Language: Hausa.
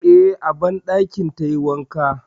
Eh, a banɗakin tayi wanka.